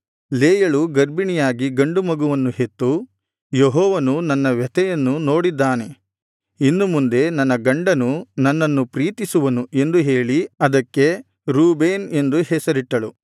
ಲೇಯಳು ಗರ್ಭಿಣಿಯಾಗಿ ಗಂಡು ಮಗುವನ್ನು ಹೆತ್ತು ಯೆಹೋವನು ನನ್ನ ವ್ಯಥೆಯನ್ನು ನೋಡಿದ್ದಾನೆ ಇನ್ನು ಮುಂದೆ ನನ್ನ ಗಂಡನು ನನ್ನನ್ನು ಪ್ರೀತಿಸುವನು ಎಂದು ಹೇಳಿ ಅದಕ್ಕೆ ರೂಬೇನ್ ಎಂದು ಹೆಸರಿಟ್ಟಳು